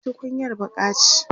tukunyar baƙa ce